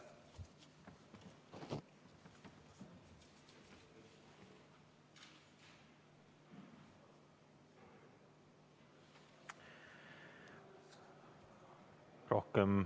Aitäh!